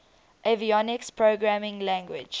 avionics programming language